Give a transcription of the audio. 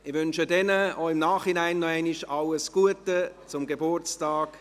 Ich wünsche Ihnen im Nachhinein alles Gute zum Geburtstag.